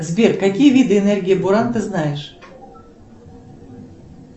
сбер какие виды энергии буран ты знаешь